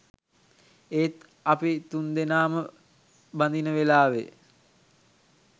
ඒත් අපි තුන්දෙනාම බඳින වෙලාවෙ